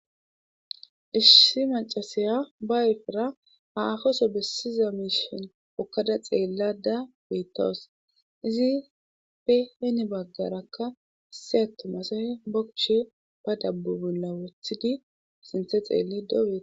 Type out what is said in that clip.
Issi macasaya ba efera ha afoso bessiza miishon okkada xeellada beettawus izi peheni baggarakka seyato masahe bokushe ba dabbubunla wothidi sinthe xeelli days.